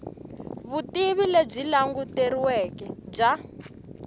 vutivi lebyi languteriweke bya